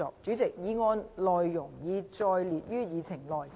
主席，議案內容已載列於議程內。